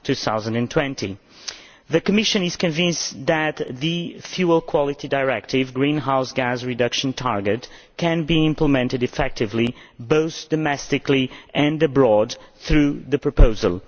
2020. The Commission is convinced that the Fuel Quality Directive's greenhouse gas reduction target can be implemented effectively both domestically and abroad through the proposal.